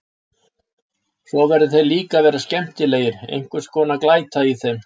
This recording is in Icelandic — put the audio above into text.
Svo verða þeir líka að vera skemmtilegir, einhver svona glæta í þeim.